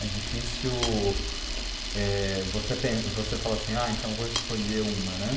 É difícil eh, você pen você falar assim, ah, então vou escolher uma, né?